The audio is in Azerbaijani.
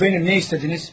Mənəm, nə istədiniz?